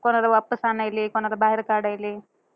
कोणाला वापस आणायले, कोणाला बाहेर काढायले.